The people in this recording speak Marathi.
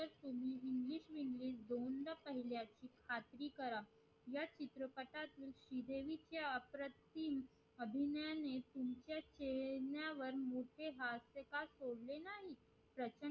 श्री देवी चे अप्रतिम अभिनयाने तुमच्या चेहऱ्यावर मोठे